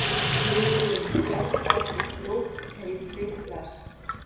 Tugum bjargað úr glóðheitri lest